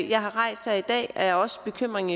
jeg har rejst her i dag er også bekymringen